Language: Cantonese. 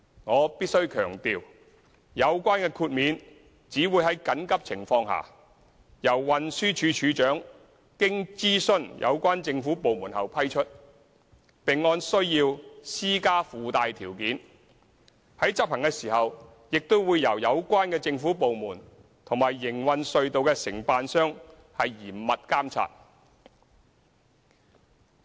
我必須強調，有關豁免只會在緊急情況下，由運輸署署長經諮詢有關政府部門後批出，並按需要施加附帶條件，在執行時亦會由有關政府部門和營運隧道的承辦商嚴密監察。